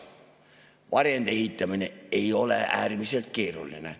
Varjendi ehitamine ei ole äärmiselt keeruline.